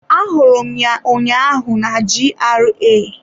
Ahụrụ m ya ụnyaahụ na GRA.